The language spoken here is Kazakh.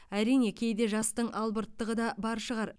әрине кейде жастың албырттығы да бар шығар